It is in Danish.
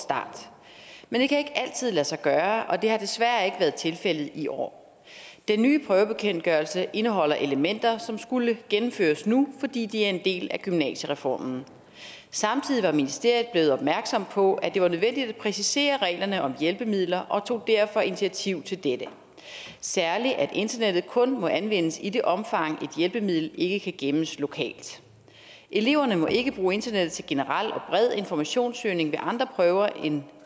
start men det kan ikke altid lade sig gøre og det har desværre tilfældet i år den nye prøvebekendtgørelse indeholder elementer som skulle gennemføres nu fordi de er en del af gymnasiereformen samtidig var ministeriet blevet opmærksom på at det var nødvendigt at præcisere reglerne om hjælpemidler og tog derfor initiativ til dette særlig at internettet kun må anvendes i det omfang et hjælpemiddel ikke kan gemmes lokalt eleverne må ikke bruge internettet til generel og bred informationssøgning ved andre prøver end